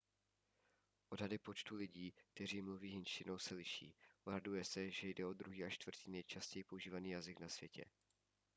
odhady počtu lidí kteří mluví hindštinou se liší odhaduje se že jde o druhý až čtvrtý nejčastěji používaný jazyk na světě